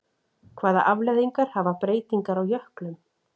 Hvaða afleiðingar hafa breytingar á jöklum?